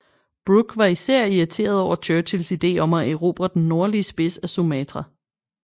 Brooke var især irriteret over Churchills ide om at erobre den nordlige spids af Sumatra